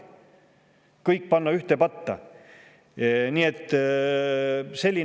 kõike ühte patta panna!